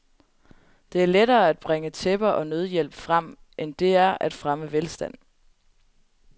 Det er lettere at bringe tæpper og nødhjælp frem, end det er at fremme velstand.